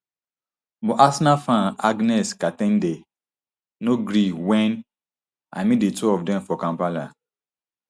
but arsenal fan agness ka ten de no gree wen i meet di two of dem for kampala